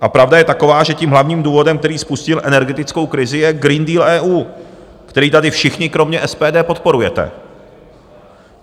A pravda je taková, že tím hlavním důvodem, který spustil energetickou krizi, je Green Deal EU, který tady všichni kromě SPD podporujete.